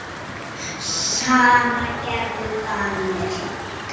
Sama gerðu Danir.